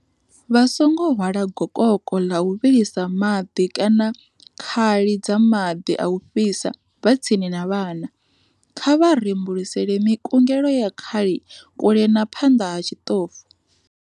Vha songo hwala gokoko ḽa u vhilisa maḽi kana khali dza maḽi a u fhisa vha tsini na vhana. Kha vha rembulusele mikungelo ya khali kule na phanḽa ha tshiḽofu.